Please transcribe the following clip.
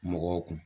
Mɔgɔw kun